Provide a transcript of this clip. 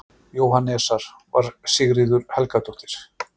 Jóhannesar, var Sigríður Helgadóttir.